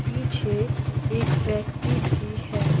पीछे एक व्यक्ति भी है।